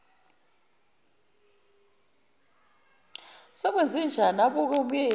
sekwenzenjani abuke umyeni